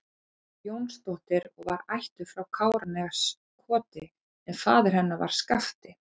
Jónsdóttir og var ættuð frá Káraneskoti en faðir hennar var Skafti